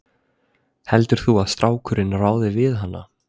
Heldur þú að strákurinn ráði við hana?